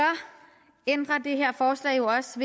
ændrer det her forslag jo også